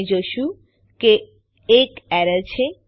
આપણે જોશું કે એક એરર છે